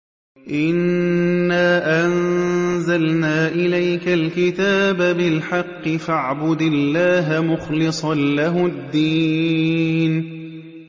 إِنَّا أَنزَلْنَا إِلَيْكَ الْكِتَابَ بِالْحَقِّ فَاعْبُدِ اللَّهَ مُخْلِصًا لَّهُ الدِّينَ